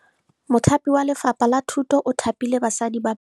Mothapi wa Lefapha la Thutô o thapile basadi ba ba raro.